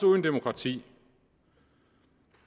uden demokrati